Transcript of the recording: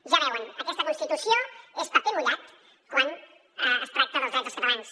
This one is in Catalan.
ja ho veuen aquesta constitució és paper mullat quan es tracta dels drets dels catalans